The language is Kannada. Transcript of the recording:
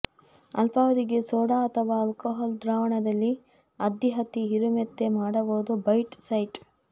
ಅಲ್ಪಾವಧಿಗೆ ಸೋಡಾ ಅಥವಾ ಆಲ್ಕೋಹಾಲ್ ದ್ರಾವಣದಲ್ಲಿ ಅದ್ದಿ ಹತ್ತಿ ಹೀರುಮೆತ್ತೆ ಮಾಡಬಹುದು ಬೈಟ್ ಸೈಟ್